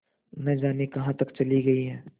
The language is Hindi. न जाने कहाँ तक चली गई हैं